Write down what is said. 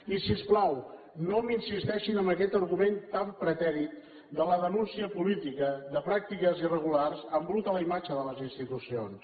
i si us plau no m’insisteixin en aquest argument tan pretèrit de la denúncia política de pràctiques irregulars perquè embruta la imatge de les institucions